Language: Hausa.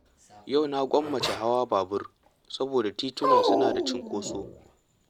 Yau na gwammace hawa babur saboda tituna suna da cunkoso.